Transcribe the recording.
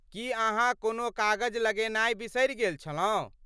की अहाँ कोनो कागज लगेनाय बिसरि गेल छलहुँ?